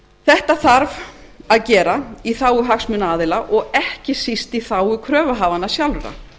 þetta þarf að gera í þágu hagsmunaaðila og ekki síst í þágu kröfuhafanna sjálfra